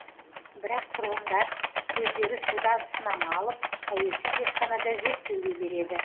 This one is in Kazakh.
бірақ тұрғындар өздері судан сынама алып тәуелсіз зертханада зерттеуге береді